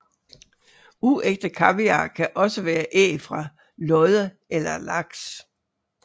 Uægte kaviar kan også være æg fra lodde eller laks